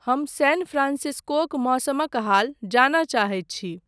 हम सैन फ्रान्सिस्कोक मौसमक हाल जानय चाहैत छी।